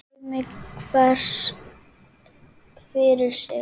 Dæmi hver fyrir sig!